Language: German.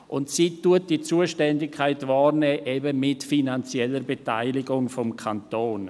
Und sie nimmt diese Zuständigkeit wahr, eben mit finanzieller Beteiligung des Kantons.